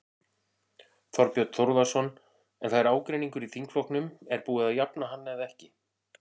Þorbjörn Þórðarson: En það er ágreiningur í þingflokknum, er búið að jafna hann eða ekki?